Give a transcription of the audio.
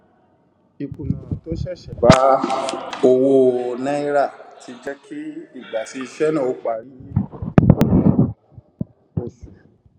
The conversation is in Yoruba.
ìkùnà tó ṣẹṣẹ bá owó náírà tí jẹ kí ìgbà tí iṣẹ náà óó parí yi pẹlú ọpọ oṣù